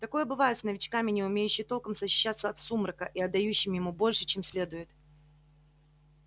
такое бывает с новичками не умеющий толком защищаться от сумрака и отдающим ему больше чем следует